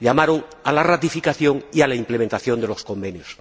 llamaron a la ratificación y a la implementación de los convenios.